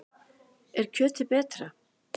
Er kjötið betra?